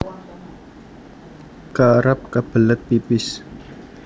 Kerep kebelet pipis